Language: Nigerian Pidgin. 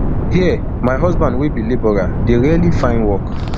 here my husband wey be labourer dey rarely find work